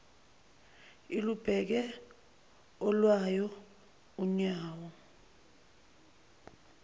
ilubeke olwayo unyawo